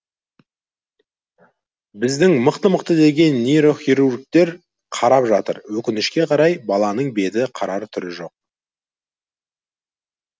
біздің мықты мықты деген нейрохирургтер қарап жатыр өкінішке қарай баланың беті қарар түрі жоқ